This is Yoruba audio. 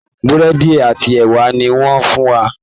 Búrẹ́dì àti ẹwà ni wọ́n fún wa